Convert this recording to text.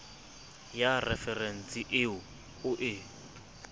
ya referense eo o e